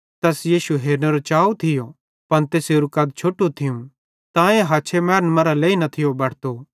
तैस यीशु हेरनेरो चाऊ थियो पन तैसेरू कद छोटू थियूं तांए तै हछे मैनन् मरां लेई न थियो बटतो